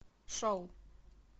шоу